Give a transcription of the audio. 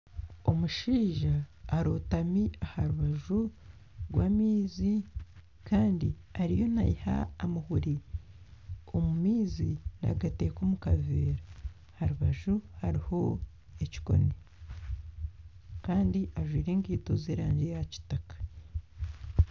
Omushaija arotami aha rubaju rw'amaizi kandi ariyo naiha amahuri omu maizi nagateka omu kaveera aha rubaju hariho ekikooni kandi ajwaire ekaito z'erangi ya kitaka.